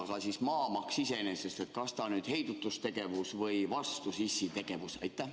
Aga kas maamaks iseenesest on heidutustegevus või sissitegevus?